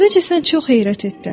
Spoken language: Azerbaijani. Əvvəlcə sən çox heyrət etdin.